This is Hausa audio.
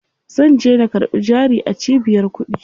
Zanje na karɓi jari a cibiyar kuɗi.